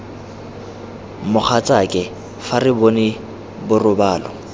mogatsake fa re bone borobalo